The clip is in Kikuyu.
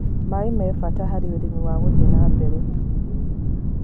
Maĩ nĩmabata harĩ ũrĩmĩ wa gũthĩĩ nambere